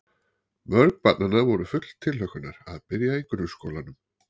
Mörg barnanna voru full tilhlökkunar að byrja í grunnskólanum.